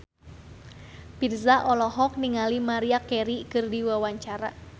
Virzha olohok ningali Maria Carey keur diwawancara